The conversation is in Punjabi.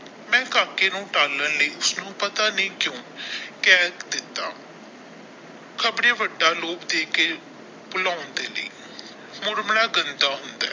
ਮੈ ਕਾਕੇ ਨੂ ਟਾਲਣ ਲਈ ਉਸਨੂੰ ਪਤਾ ਨਹੀਂ ਕਿਊ ਕਹਿ ਦਿਤਾ ਖ਼ਬਰੇ ਵੱਡਾ ਲੋਭ ਦੇ ਕੇ ਬੋਲਾਉਂਦੇ ਨੇ ਮੁੜ ਮੜਾ ਗੰਦਾ ਹੁੰਦਾ।